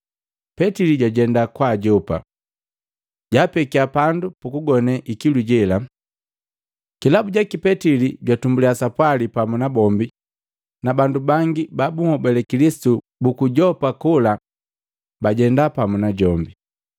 Petili jwatenda kwa ajopa, jaapekya pandu pukugone ikilu jela. Kilabu jaki, Petili jwatumbulya sapwali pamu na bombi, na bandu bangi ba bunhobale Kilisitu buku Yopa kola bajenda pamu najombi.